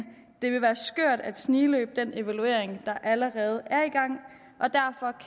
det vil være skørt at snigløbe den evaluering der allerede